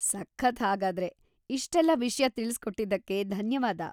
ಸಖತ್‌ ಹಾಗಾದ್ರೆ! ಇಷ್ಟೆಲ್ಲ ವಿಷ್ಯ ತಿಳ್ಸ್‌ಕೊಟ್ಟಿದ್ಕೆ ಧನ್ಯವಾದ.